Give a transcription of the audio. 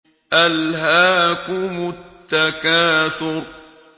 أَلْهَاكُمُ التَّكَاثُرُ